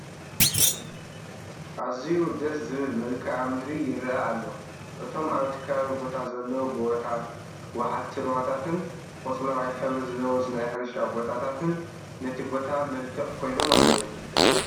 ኣዝዩ ደስ ዝብል መልክኣ ምድሪ ይርአ ኣሎ፡፡ እቶም ኣብቲ ከባቢ ቦታ ዘለዉ ጎባታት፣ ወሓዝቲ ሩባታትን፣ ቆፅለዋይ ሕብሪ ዝለበሱ ናይ ሕርሻ ቦታታትን ነቲ ቦታ መልክዕ ኮይኖሞ ኣለዉ፡፡